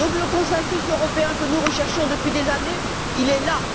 Donc, le consensus européen que nous recherchons depuis des années, il est là.